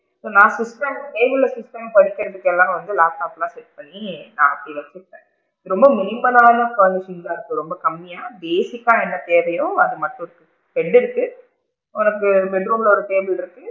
நான் சுத்தம் table ல சுத்தமா படிக்கிறதுக்கு எல்லாம் வந்து laptop லா set பண்ணி நான் அப்படி வச்சு இருப்பேன், ரொம்ப minimal லான furniture தான் இருக்கு ரொம்ப கம்மியா, basic கா என்ன தேவையோ அது மட்டும் தான் bed டு இருக்கு உனக்கு bed room ல ஒரு table இருக்கு,